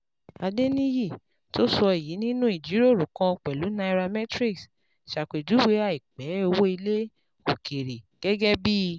Adeniyi, tó sọ èyí nínú ìjíròrò kan pẹ̀lú Nairametrics, ṣàpèjúwe àìpé owó ilẹ̀ òkèèrè gẹ́gẹ́ bí